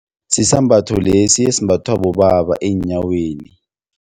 Sisambatho lesi esimbathwa bobaba eenyaweni.